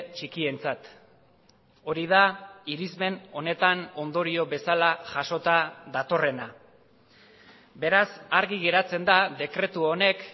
txikientzat hori da irismen honetan ondorio bezala jasota datorrena beraz argi geratzen da dekretu honek